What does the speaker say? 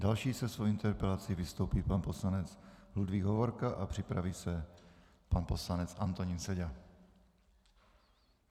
Další se svojí interpelací vystoupí pan poslanec Ludvík Hovorka a připraví se pan poslanec Antonín Seďa.